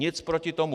Nic proti tomu.